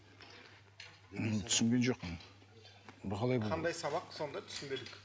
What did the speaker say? мұны түсінген жоқпын бұл қалай қандай сабақ сонда түсінбедік